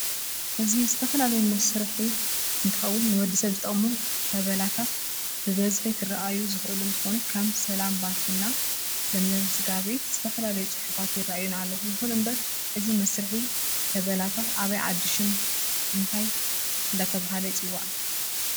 እዚ ዝተፈላላዩ መሰራሕ እንትከውን ንወድሰብ ዝጠቅሙ ተበላታት ብብዝሕ ክርአዩ ዝክእሉ እንትኮኑ ከም ሰላም በልትና ለምለም ስጋቤት ዝተፈላላዩ ፅሑፋት ይርአይና ኣለው ይኩን እዚ መዝርሕ ተበላታት አብይ ዓዲ ሽም እንታይ እዳተሃ ይፅዋዕ?